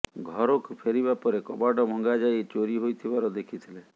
ଘରକୁ ଫେରିବା ପରେ କବାଟ ଭଙ୍ଗା ଯାଇ ଚୋରି ହୋଇଥିବାର ଦେଖିଥିଲେ